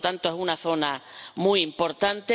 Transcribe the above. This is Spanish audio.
por lo tanto, es una zona muy importante.